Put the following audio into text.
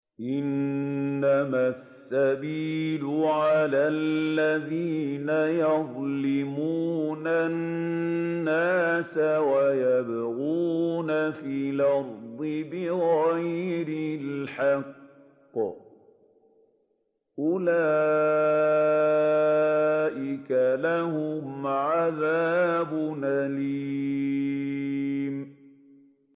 إِنَّمَا السَّبِيلُ عَلَى الَّذِينَ يَظْلِمُونَ النَّاسَ وَيَبْغُونَ فِي الْأَرْضِ بِغَيْرِ الْحَقِّ ۚ أُولَٰئِكَ لَهُمْ عَذَابٌ أَلِيمٌ